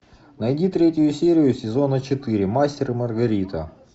найди третью серию сезона четыре мастер и маргарита